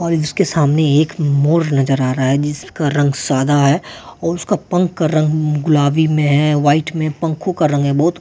और उसके सामने एक मोड़ नजर आ रहा है जिसका रंग सादा है और उसका पंख का रंग गुलाबी में है वाइट में पंखों का रंग है बहुत--